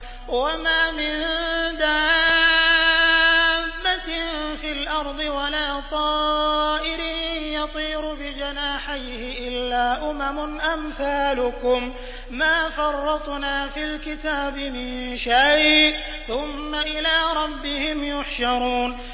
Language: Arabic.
وَمَا مِن دَابَّةٍ فِي الْأَرْضِ وَلَا طَائِرٍ يَطِيرُ بِجَنَاحَيْهِ إِلَّا أُمَمٌ أَمْثَالُكُم ۚ مَّا فَرَّطْنَا فِي الْكِتَابِ مِن شَيْءٍ ۚ ثُمَّ إِلَىٰ رَبِّهِمْ يُحْشَرُونَ